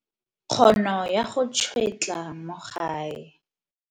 Kgono ya go tšhwetla mo gae.